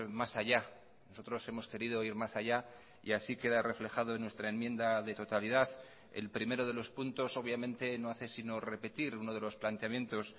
más allá nosotros hemos querido ir más allá y así queda reflejado en nuestra enmienda de totalidad el primero de los puntos obviamente no hace sino repetir uno de los planteamientos